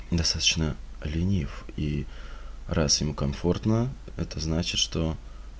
достаточно ленив и раз им комфортно это значит что